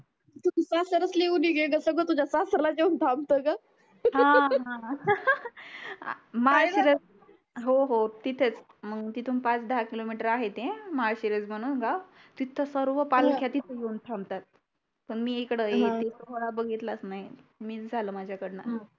तिथे सर्व पालख्या तिथे जाऊन थांबतात पण मी इकडे एक खोरा बघितलाच नाही मिस झालं माझ्या कळन